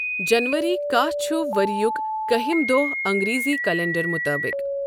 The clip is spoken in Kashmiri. جَنؤری کَہہ چھُ ؤرۍیُک کٔہِم دۄہ اَنگریزی کیلنڈَر مُطٲبِق۔